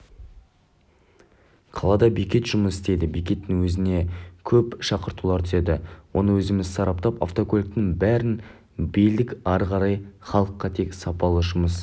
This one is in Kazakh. қалада бекет жұмыс істейді бекеттің өзіне көп шақыртулар түседі оны өзіміз сараптап автокөліктің бәрін бөлдік ары қарай халыққа тек сапалы жұмыс